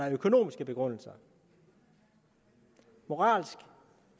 en økonomisk begrundelse moralsk